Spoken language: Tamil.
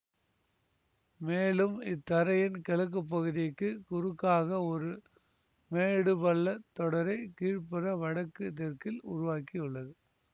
மேலும் இத்தரையின் கிழக்கு பகுதிக்கு குறுக்காக ஒரு மேடு பள்ளத் தொடரை கீழ்புற வடக்கு தெற்கில் உருவாக்கியுள்ளது